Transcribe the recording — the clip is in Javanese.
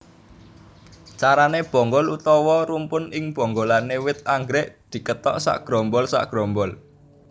Carané bonggol utawa rumpun ing bonggolan wit anggrèk dikethok sagrombol sagrombol